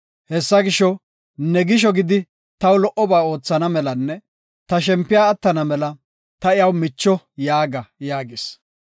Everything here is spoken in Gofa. Hessa gisho, ne gisho gidi taw lo77oba oothana melanne ta shempiya attana mela ‘Ta iyaw micho’ yaaga” yaagis.